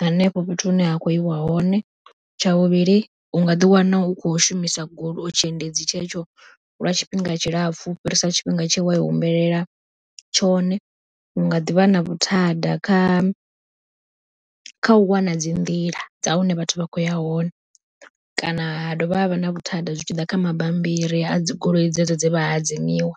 hanefho fhethu hune ha khou yiwa hone. Tsha vhuvhili u nga ḓi wana u khou shumisa goloi, tshiendedzi tshetsho lwa tshifhinga tshilapfhu u fhirisa tshifhinga tshe wa i humbela tshone, hunga ḓivha na vhuthanda kha kha u wana dzi nḓila dza hune vhathu vha khou ya hone, kana ha dovha ha vha na vhuthada zwi tshiḓa kha mabambiri a dzi goloi dzedzo dze vha hadzimiwa.